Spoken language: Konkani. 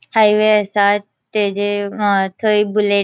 हाइवे असा तेचे अ थय बुलेट --